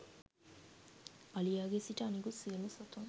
අලියාගේ සිට අනිකුත් සියලුම සතුන්